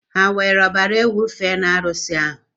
Ha were ọbara ewu fee n'arusi ahụ?